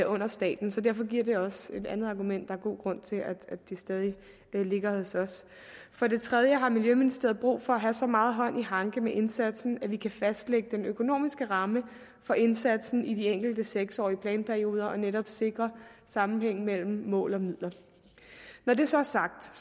under staten så derfor giver det os et andet argument er god grund til at det stadig ligger hos os for det tredje har miljøministeriet brug for at have så meget hånd i hanke med indsatsen at vi kan fastlægge den økonomiske ramme for indsatsen i de enkelte seks årige planperioder og netop sikre sammenhængen mellem mål og midler når det så er sagt